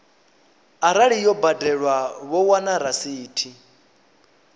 arali yo badelwa vho wana rasithi